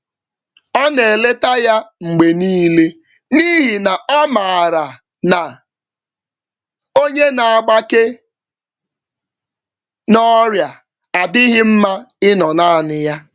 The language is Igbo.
Ọ naeleta ya mgbe nile, n'ihi na ọmaara na, onye naagbake n'ọrịa adịghị mma ịnọ nanị ya